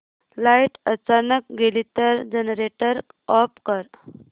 light अचानक गेली तर जनरेटर ऑफ कर